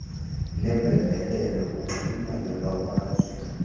neempembelelo kunxulumano lwamazwe